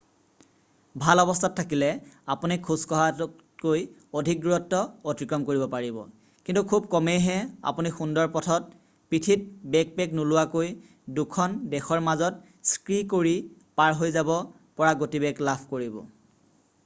ভাল অৱস্থাত থাকিলে আপুনি খোজকঢ়াতকৈ অধিক দূৰত্ব অতিক্ৰম কৰিব পাৰিব কিন্তু খুব কমেইহে আপুনি সুন্দৰ পথত পিঠিত বেকপেক নোলোৱাকৈ দুখন দেশৰ মাজত স্কী কৰি পাৰ হৈ যাব পৰা গতিবেগ লাভ কৰিব